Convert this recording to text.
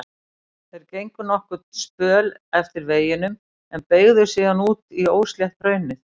Þeir gengu nokkurn spöl eftir veginum en beygðu síðan út í óslétt hraunið.